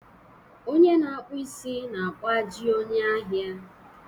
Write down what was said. Onye na-akpụ isi na-akpụ ajị onye ahịa